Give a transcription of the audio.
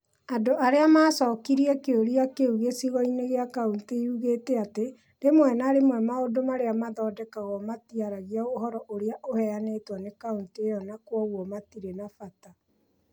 Andũ arĩa maacokirie kĩũria kĩu gĩcigo-inĩ kĩa kaunti yugĩte atĩ, rĩmwe na rĩmwe maũndũ marĩa maathondekagwo matiaragia ũhoro ũrĩa ũheanĩtwo nĩ kaunti ĩyo na kwoguo matiarĩ na bata.